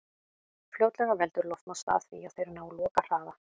Fljótlega veldur loftmótstaða því að þeir ná lokahraða.